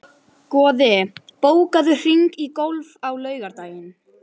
Goði, bókaðu hring í golf á laugardaginn.